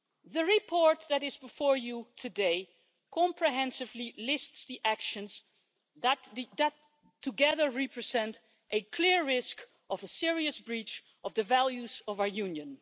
The report that is before you today comprehensively lists the actions that, together, represent a clear risk of a serious breach of the values of our Union.